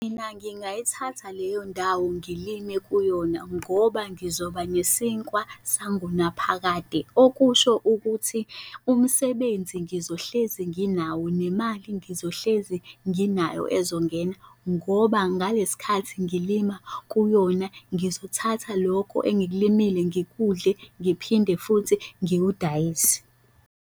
Mina ngingayithatha leyo ndawo ngilime kuyona ngoba ngizoba nesinkwa sangunaphakade, okusho ukuthi umsebenzi ngizohlezi nginawo nemali ngizohlezi nginayo ezongena ngoba ngalesi khathi ngilima kuyona, ngizothatha lokho engikulimile, ngikudle ngiphinde futhi ngikudayise.